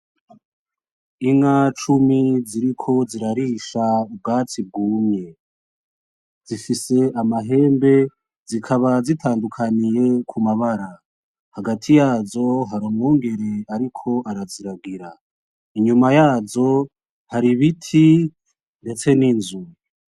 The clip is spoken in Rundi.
Inka cumi z'iriko zirarisha ubwatsi bwumye, zifise amahembe zikaba zitadukaniye kumabara, hagati yazo hari umwungere ariko arazirangira, inyuma yazo har'ibiti ndetse n'inzu.